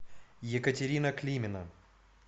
екатерина климина